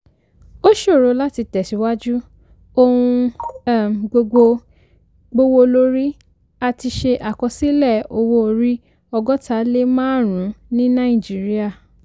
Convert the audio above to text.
ó ṣòro láti tẹ̀síwájú; ohun um gbogbo gbówólórí; a ti ṣe àkọsílẹ̀ owó orí ọgọ́ta lé márùn-ún ní nàìjíríà.